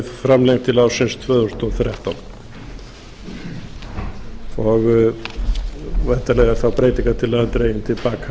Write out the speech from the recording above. framlengd til ársins tvö þúsund og þrettán væntanlega er þá breytingartillagan dregin til